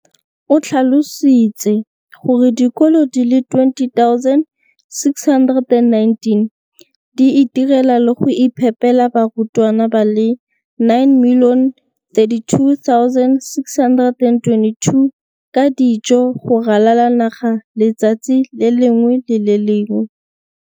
O tlhalositse gore dikolo di le 20 619 di itirela le go iphepela barutwana ba le 9 032 622 ka dijo go ralala naga letsatsi le lengwe le le lengwe.